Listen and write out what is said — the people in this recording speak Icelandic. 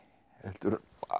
heldur